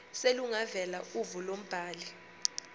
selungavela uvo lombhali